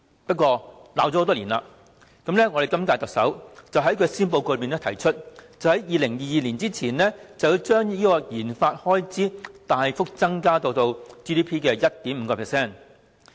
幸好，罵了多年，今屆特首終於在施政報告提出，在2022年前將研發開支大幅增至 GDP 的 1.5%。